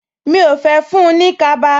Mi ò fẹ́ fún-un ní kaba